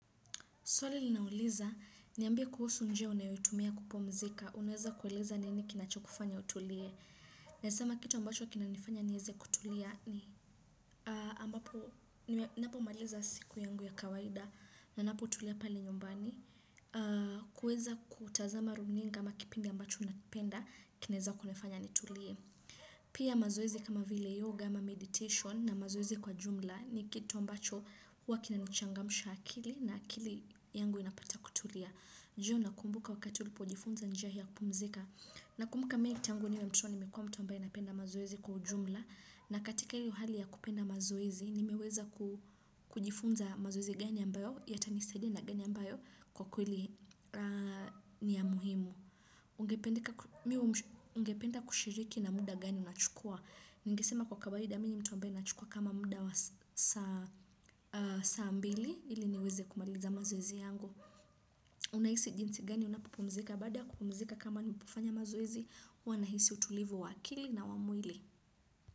Swali linauliza, niambia kuhusu njia unayotumia kupumzika, unaweza kueleza nini kinacho kufanya utulie. Nasema kitu ambacho kinanifanya nieze kutulia ni ambapo, ninapo maliza siku yangu ya kawaida, ninapo utulia pale nyumbani. Kueza kutazama runinga ama kipindi ambacho unapenda, kineza kunifanya nitulie. Pia mazoezi kama vile yoga ama meditation na mazoezi kwa jumla ni kito ambacho huwa kina nichangamsha akili na akili yangu inapata kutulia. Je unakumbuka wakati ulipo jifunza njia hii ya kumzika. Nakumbuka mimi tangu niwe mtoto nimekuwa mtu ambae napenda mazoezi kwa jumla na katika hiyo hali ya kupenda mazoezi nimeweza ku kujifunza mazoezi gani ambayo yatanisadia na gani ambayo kwa kweli ni ya muhimu. Ungependa kushiriki na muda gani unachukua. Ningesema kwa kawaida mimi ni mtu ambaye ninachukua kama muda saa mbili ili niweze kumaliza mazoezi yangu. Unahisi jinsi gani unapopumzika bada ya kupumzika kama ni kufanya mazoezi huwanahisi utulivu waakili na wamwili.